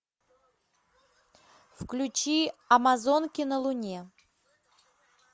включи амазонки на луне